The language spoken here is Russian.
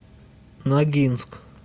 ногинск